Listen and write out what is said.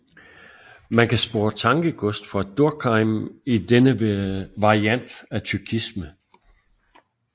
Man kan spore tankegods fra Durkheim i denne variant af tyrkisme